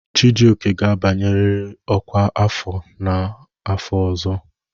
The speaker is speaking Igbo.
Chijioke ga-abanyerịrị ọkwá afọ n'afọ ọzọ!